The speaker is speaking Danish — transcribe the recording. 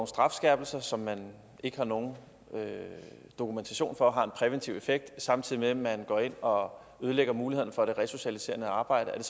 strafskærpelser som man ikke har nogen dokumentation for har en præventiv effekt samtidig med man går ind og ødelægger muligheden for det resocialiserende arbejde er